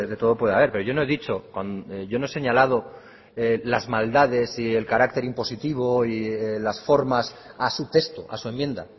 todo puede haber pero yo no he dicho yo no he señalado las maldades y el carácter impositivo y las formas a su texto a su enmienda